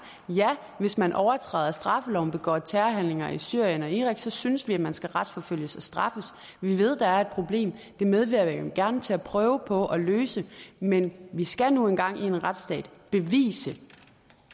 ja hvis man overtræder straffeloven begår terrorhandlinger i syrien og irak så synes vi at man skal retsforfølges og straffes vi ved der er et problem det medvirker vi gerne til at prøve på at løse men vi skal nu engang i en retsstat bevise